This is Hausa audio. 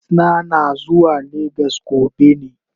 Plit na, na zuwa lagos gobe ne.